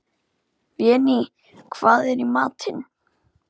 Véný, hvað er í matinn?